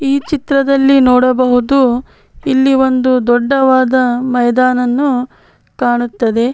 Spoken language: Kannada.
ಈ ಚಿತ್ರದಲ್ಲಿ ನೋಡಬೋದು ಇಲ್ಲಿ ಒಂದು ದೊಡ್ಡವಾದ ಮೈದಾನನ್ನು ಕಾಣುತ್ತದೆ.